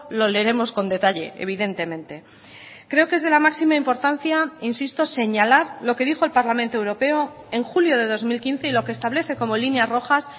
lo leeremos con detalle evidentemente creo que es de la máxima importancia insisto señalar lo que dijo el parlamento europeo en julio de dos mil quince y lo que establece como líneas rojas